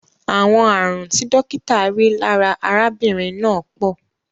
Àwọn ààrùn tí dókítà rí lára arábìnrin náà pọ̀.